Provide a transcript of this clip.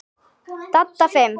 Dadda fimm.